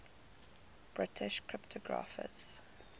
british cryptographers